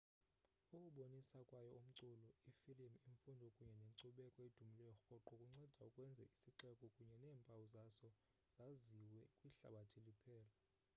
ukubonisa kwayo umculo iifilimu imfundo kunye nenkcubeko edumileyo rhoqo kuncede ukwenza isixeko kunye neempawu zaso zaziwe kwihlabathi liphela